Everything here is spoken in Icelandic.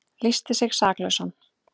Lýsti sig saklausan